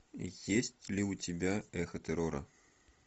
есть ли у тебя эхо террора